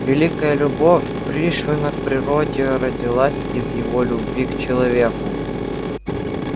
великая любовь пришвина к природе родилась из его любви к человеку